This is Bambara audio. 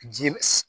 Ji